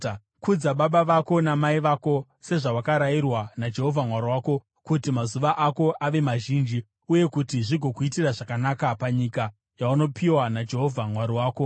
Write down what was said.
Kudza baba vako namai vako, sezvawakarayirwa naJehovha Mwari wako, kuti mazuva ako ave mazhinji uye kuti zvigokuitira zvakanaka panyika yaunopiwa naJehovha Mwari wako.